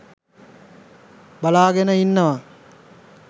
බලාගෙන ඉන්නවා